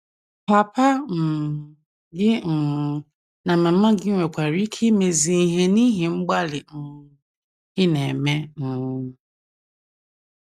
Papa um gị um na mama gị nwekwara ike imezi ihe n’ihi mgbalị ị na - eme um.